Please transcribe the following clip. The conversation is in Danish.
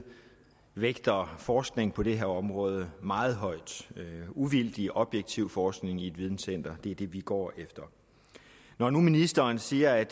vægter forskning på det her område meget højt uvildig objektiv forskning i et videncenter er det vi går efter når nu ministeren siger at